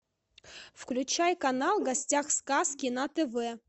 включай канал в гостях у сказки на тв